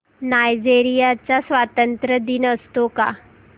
Nigeria चा स्वातंत्र्य दिन असतो का